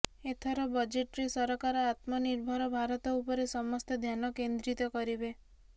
ଏଥର ବଜେଟ୍ରେ ସରକାର ଆତ୍ମନିର୍ଭର ଭାରତ ଉପରେ ସମସ୍ତ ଧ୍ୟାନ କେନ୍ଦ୍ରିତ କରିବେ